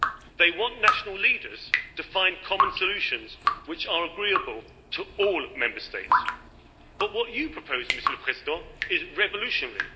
They want national leaders to find common solutions which are agreeable to all Member States, but what you propose, Monsieur le Président, is revolutionary.